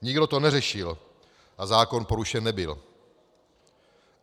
Nikdo to neřešil a zákon porušen nebyl.